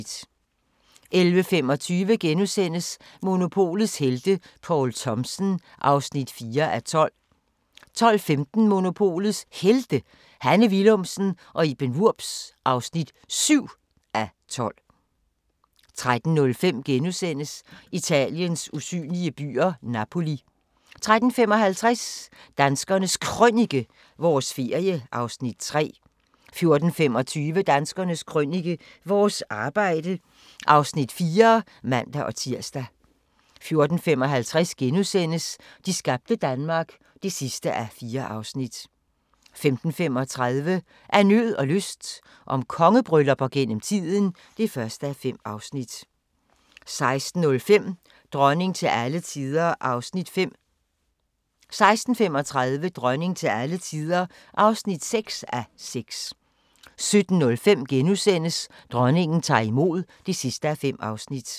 11:25: Monopolets helte - Poul Thomsen (4:12)* 12:15: Monopolets Helte – Hanne Willumsen og Iben Wurbs (7:12) 13:05: Italiens usynlige byer – Napoli * 13:55: Danskernes Krønike – vores ferie (Afs. 3) 14:25: Danskernes Krønike - vores arbejde (Afs. 4)(man-tir) 14:55: De skabte Danmark (4:4)* 15:35: Af nød og lyst – om kongebryllupper gennem tiden (1:5) 16:05: Dronning til alle tider (5:6)* 16:35: Dronning til alle tider (6:6) 17:05: Dronningen tager imod (5:5)*